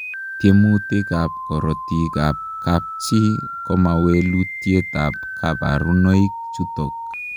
Tiemutik ap korotik ap kapchii komawalutiet ap kabarunoik chutok.